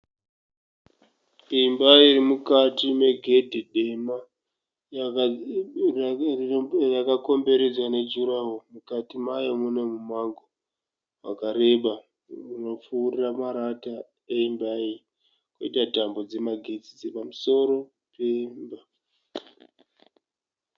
Imba iri mukati megedhe dema yakakomberedzwa nejuraho. Mukati mayo mune mumango wakareba unopfuura marata emba koita tambo dzemagetsi dziri pamusoro pemba.